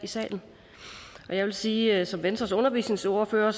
i salen jeg vil sige at som venstres undervisningsordfører